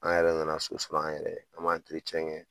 An yɛrɛ nana so sɔrɔ an yɛrɛ ye, an b'a kɛ